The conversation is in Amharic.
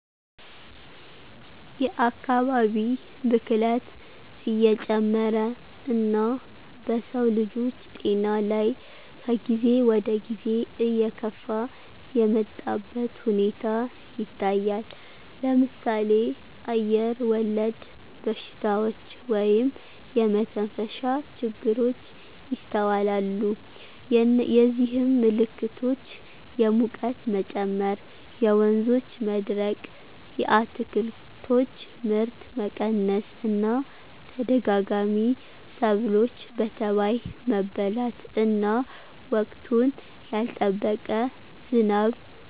የአካባቢ ብክለት እየጨመረ እና በሰውልጆች ጤና ላይ ከጊዜ ወደጊዜ እየከፋ የመጣበት ሁኔታ ይታያል ለምሳሌ አየርወለድ በሽታዎች (የመተንፈሻ ችግሮች) ይስተዋላሉ የዚህም ምልክቶች የሙቀት መጨመር የወንዞች መድረቅ የአትክልቶች ምርት መቀነስ እና ተደጋጋሚ ሰብሎች በተባይ መበላት እና ወቅቱን ያልጠበቀ ዝናብ